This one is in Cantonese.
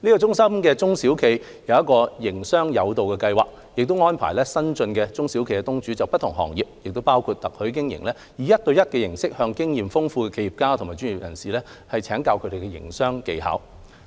中心的中小企業"營商友導"計劃，則安排新進的中小企業東主就不同行業，包括特許經營，以一對一形式向經驗豐富的企業家及專業人士請教營商技巧。